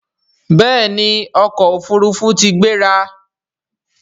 béèni ọkọ òfurufú tí gbéra.